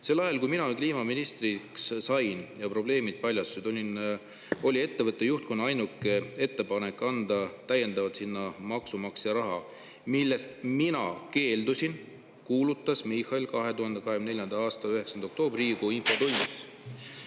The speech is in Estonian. "Sel ajal, kui mina kliimaministriks sain ja probleemid paljastusid, oli ettevõtte juhtkonna ainukene ettepanek anda täiendavalt sinna maksumaksja raha, millest mina keeldusin," kuulutas Michal 2024. aasta 9. oktoobril riigikogu infotunnis.